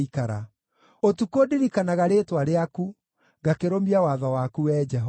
Ũtukũ ndirikanaga rĩĩtwa rĩaku, ngakĩrũmia watho waku Wee Jehova.